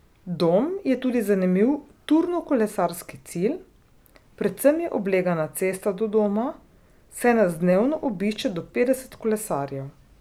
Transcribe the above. Dom je tudi zanimiv turnokolesarski cilj, predvsem je oblegana cesta do doma, saj nas dnevno obišče do petdeset kolesarjev.